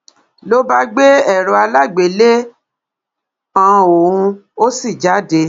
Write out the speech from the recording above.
ló bá gbé èrò alágbèéléàn òun ó sì jáde